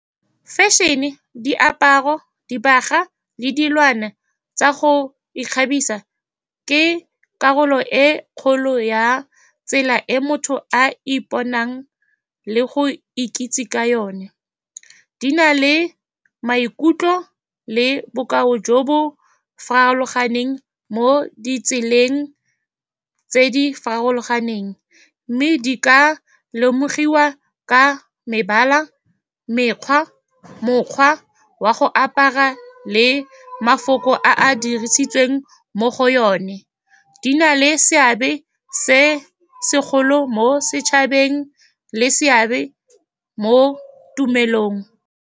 Fashion-e, diaparo, dibaga, le dilwana tsa go ikgabisa ke karolo e e kgolo ya tsela e motho a iponang le go ikitse ka yone. Ke di na le maikutlo le bokao jo bo farologaneng mo ditseleng tse di farologaneng, mme di ka lemogiwa ka mebala, mekgwa, mokgwa wa go apara, le mafoko a a dirisitsweng mo go yone. Di na le seabe se segolo mo setšhabeng le seabe mo tumelong.